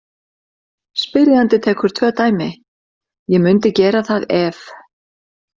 Spyrjandi tekur tvö dæmi: Ég mundi gera það ef.